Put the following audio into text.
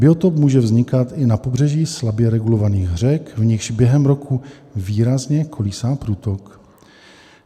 Biotop může vznikat i na pobřeží slabě regulovaných řek, v nichž během roku výrazně kolísá průtok.